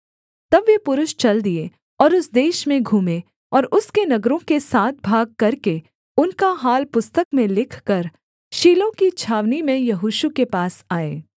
तब वे पुरुष चल दिए और उस देश में घूमें और उसके नगरों के सात भाग करके उनका हाल पुस्तक में लिखकर शीलो की छावनी में यहोशू के पास आए